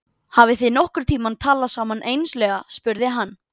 Hafið þið nokkurn tíma talað saman einslega? spurði hann.